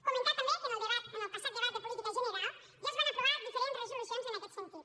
comentar també que en el passat debat de política general ja es van aprovar diferents resolucions en aquest sentit